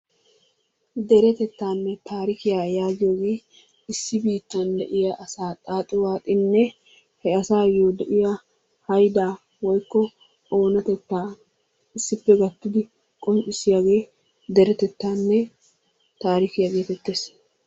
Deretettaanne taarikiya yaagiyoge issi biittan de'iya asaa xaaxi waaxininne he asaayyo de'iya hayidaa woyikko oonatettaa issippe gattidi qonccissiyagee derettaanne taarikiya geetettes.